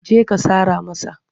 Je ka sara masa!